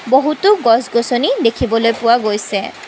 বহুতো গছ গছনি দেখিবলৈ পোৱা গৈছে।